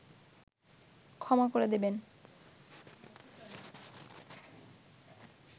ক্ষমা করে দেবেন